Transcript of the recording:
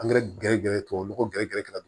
Angɛrɛ gɛrɛ gɛrɛ tubabu nɔgɔ gɛrɛ gɛrɛ gɛrɛ don